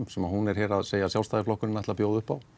sem hún er að segja að Sjálfstæðisflokkurinn ætli að bjóða upp á